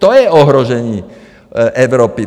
To je ohrožení Evropy.